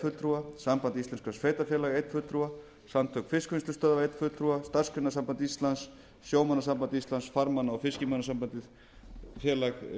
fulltrúa samband íslenskra sveitarfélaga einn fulltrúa samtök fiskvinnslustöðva einn fulltrúa starfsgreinasamband íslands sjómannasamband íslands farmanna og fiskimannasambandi félag vélstjóra og